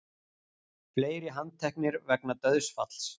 Fleiri handteknir vegna dauðsfalls